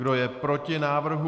Kdo je proti návrhu?